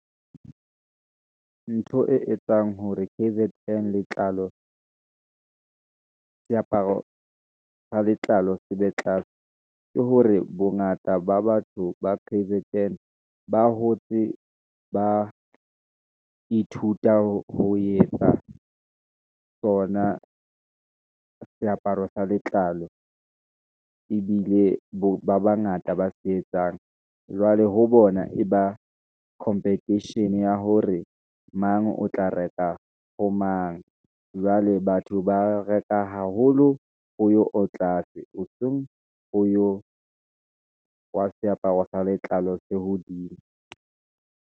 Ntho e etsang hore K_Z_N letlalo seaparo sa letlalo sebe tlase, ke hore bongata ba batho ba K_Z_N, ba hotse ba ithuta ho etsa sona seaparo sa letlalo, ebile ba bangata ba se etsang. Jwale ho bona e ba competition ya hore mang o tla reka ho mang, jwale batho ba reka haholo, ho yo o tlase hoseng, ho yo wa seaparo sa letlalo se hodimo.